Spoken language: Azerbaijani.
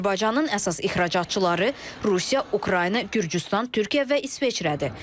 Azərbaycanın əsas ixracatçıları Rusiya, Ukrayna, Gürcüstan, Türkiyə və İsveçrədir.